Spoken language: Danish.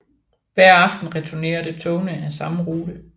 Hver aften returnerede togene af samme rute